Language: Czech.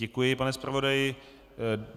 Děkuji, pane zpravodaji.